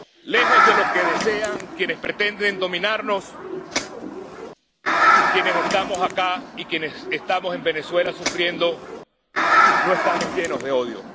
Lejos de lo que desean quienes pretenden dominarnos, quienes estamos acá y quienes estamos en Venezuela sufriendo no estamos llenos de odio.